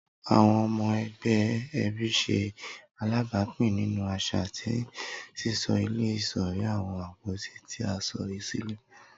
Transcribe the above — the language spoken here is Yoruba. Awọn ọmọ ẹgbẹ ẹbi ṣe alabapin ninu aṣa ti sisọ ile sori awọn apoti ti a sọ silẹ.